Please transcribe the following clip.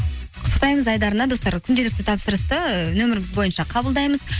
құттықтаймыз айдарына достар күнделікті тапсырысты ы нөміріміз бойынша қабылдаймыз